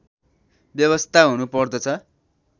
व्यवस्था हुनु पर्दछ